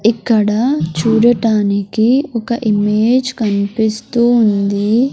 ఇక్కడ చూడటానికి ఒక ఇమేజ్ కన్పిస్తూ ఉంది.